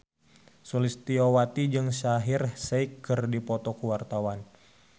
Sulistyowati jeung Shaheer Sheikh keur dipoto ku wartawan